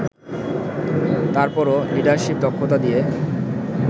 তারপরও লিডারশিপ দক্ষতা দিয়ে